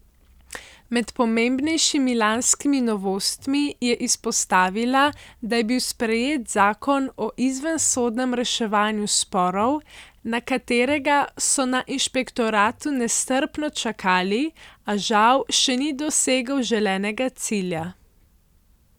Med pomembnejšimi lanskimi novostmi je izpostavila, da je bil sprejet zakon o izvensodnem reševanju sporov, na katerega so na inšpektoratu nestrpno čakali, a žal še ni dosegel želenega cilja.